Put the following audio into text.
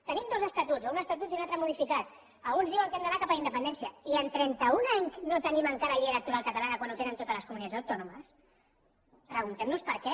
tenim dos estatuts o un estatut i un altre modificat alguns diuen que hem d’anar cap a la independència i en trenta un any no tenim encara llei electoral catalana quan en tenen totes les comunitats autònomes preguntem nos per què